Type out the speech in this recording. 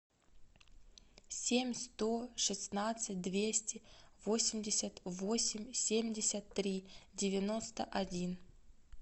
семь сто шестнадцать двести восемьдесят восемь семьдесят три девяносто один